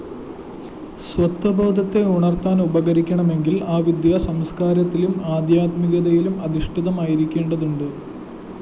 സ്വത്വബോധത്തെ ഉണര്‍ത്താന്‍ ഉപകരിക്കണമെങ്കില്‍ ആ വിദ്യ സംസ്‌കാരത്തിലും ആദ്ധ്യാത്മികതയിലും അധിഷ്ഠിതമായിരിക്കേണ്ടതുണ്ട്